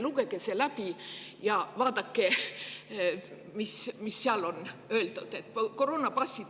Lugege see läbi ja vaadake, mis seal on öeldud.